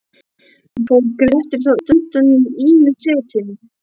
Fór Grettir þá undan í ýmis setin.